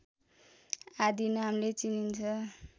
आदि नामले चिनिन्छ